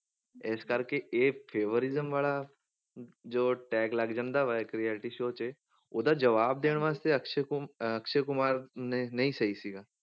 ਇਸ ਕਰਕੇ ਇਹ favouritism ਵਾਲਾ ਹਮ ਜੋ tag ਲੱਗ ਜਾਂਦਾ ਵਾ ਇੱਕ reality show 'ਚ ਉਹਦਾ ਜਵਾਬ ਦੇਣ ਵਾਸਤੇ ਅਕਸ਼ੇ ਕੁਮ~ ਅਹ ਅਕਸ਼ੇ ਕੁਮਾਰ ਨਹੀਂ ਨਹੀਂ ਸਹੀ ਸੀਗਾ,